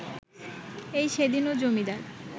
এই সেদিনও জমিদার